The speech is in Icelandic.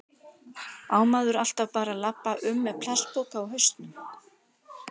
Á maður alltaf bara að labba um með plastpoka á hausnum?